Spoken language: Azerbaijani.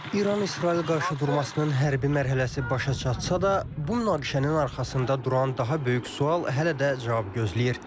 İran-İsrail qarşıdurmasının hərbi mərhələsi başa çatsa da, bu münaqişənin arxasında duran daha böyük sual hələ də cavab gözləyir.